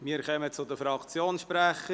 Wir kommen zu den Fraktionssprechern: